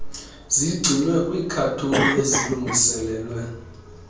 zigcinwe kwiikhathoni ezilungiselelwe